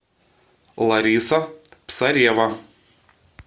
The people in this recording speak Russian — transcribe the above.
лариса псарева